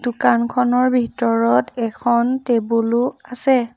দোকানখনৰ ভিতৰত এখন টেবুল ও আছে।